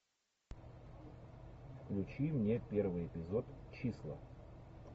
включи мне первый эпизод числа